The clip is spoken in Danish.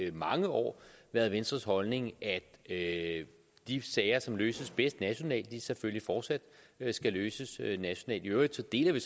i mange år været venstres holdning at de sager som løses bedst nationalt selvfølgelig fortsat skal løses nationalt i øvrigt deler vi